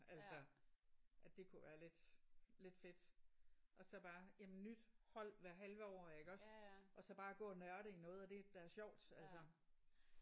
Altså at det kunne være lidt lidt fedt. Og så bare jamen nyt hold hvert halve år iggås? Og så bare gå og nørde i noget af det der er sjovt altså